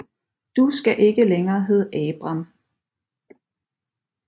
Du skal ikke længere hedde Abram